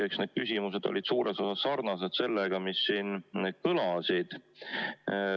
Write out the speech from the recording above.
Eks need küsimused olid suures osas sarnased sellega, mis siin kõlasid.